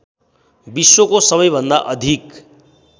विश्वको सबैभन्दा अधिक